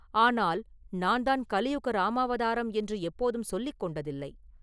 ஆனால் நான்தான் கலியுக ராமாவதாரம் என்று எப்போதும் சொல்லிக் கொண்டதில்லை.